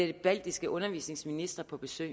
de baltiske undervisningsministre på besøg